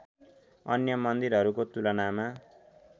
अन्य मन्दिरहरूको तुलनामा